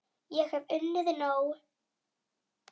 Ég hef unnið nóg!